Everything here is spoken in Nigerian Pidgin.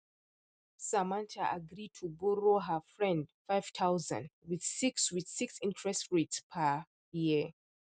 samantha agree to borrow her friend 5000 with 6 with 6 interest rate per year